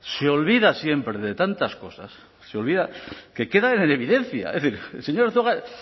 se olvida siempre de tantas cosas se olvida que quedan en evidencia es decir el señor arzuaga es